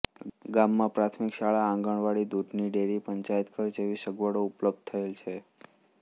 ગામમાં પ્રાથમિક શાળા આંગણવાડી દૂધની ડેરી પંચાયતઘર જેવી સગવડો ઉપલબ્ધ થયેલ છે